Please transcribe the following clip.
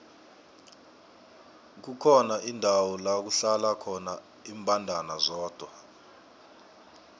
kukhona indawo lakuhlala khona imbandana zodwa